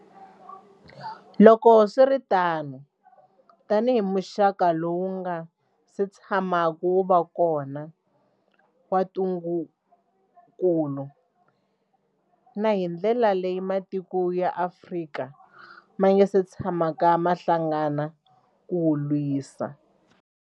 Loko swi ri tano, tanihi muxaka lowu wu nga si tshamaka wu va kona wa ntungukulu, na hi ndlela leyi matiko ya Afrika ma nga si tshamaka ma hlangana ku wu lwisa.